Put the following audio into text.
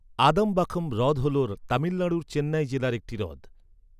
আদমবাখম হ্রদ হল তামিলনাড়ুর চেন্নাই জেলার একটি হ্রদ।